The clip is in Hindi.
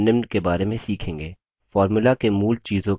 formula के मूल चीजों का परिचय